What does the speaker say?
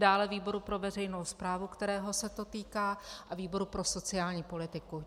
Dále výboru pro veřejnou správu, kterého se to týká, a výboru pro sociální politiku.